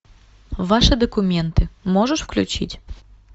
ваши документы можешь включить